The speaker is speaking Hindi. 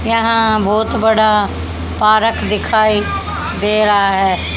क्या बहुत बड़ा पार्क दिखाई दे रहा है।